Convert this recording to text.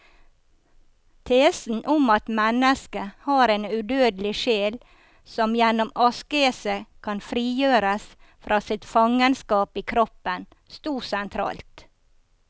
Tesen om at mennesket har en udødelig sjel som gjennom askese kan frigjøres fra sitt fangenskap i kroppen, stod sentralt.